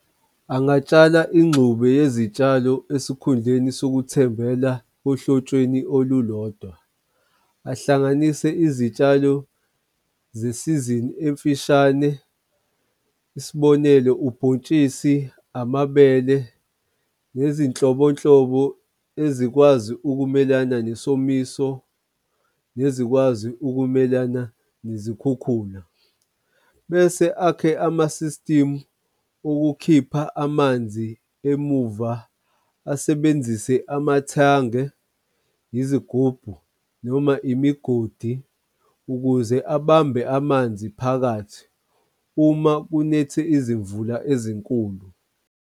Angatsala ingxube yezitshalo esikhundleni sokuthembela ohlotsheni olulodwa. Ahlanganise izitshalo zesizini emfishane. Isibonelo, ubhontshisi amabele ngezinhlobonhlobo ezikwazi ukumelana nesomiso, nezikwazi ukumelana nezikhukhula. Bese akhe ama-system ukukhipha amanzi emuva, asebenzise amathange, izigubhu, noma imigodi ukuze abambe amanzi phakathi uma kunethe izimvula ezinkulu.